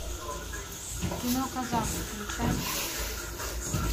кино казар включай